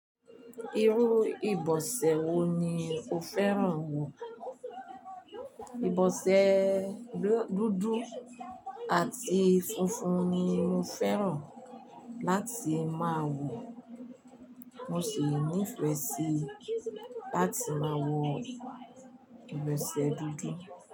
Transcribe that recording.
Irú ìbọ̀sẹ̀ wo ni o fẹ́ràn wọ̀? Ìbọ̀sẹ̀ dúdú àti funfun ni mo fẹ́ràn láti máa wọ̀. Mo sì nífẹ̀ẹ́ sí láti máa wọ ìbọ̀sẹ̀ dúdú.